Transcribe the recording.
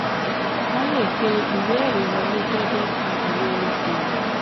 wọn le pe ìwé-ẹ̀rí um wọlé gẹ́gẹ́ bí ìwé okoòwò.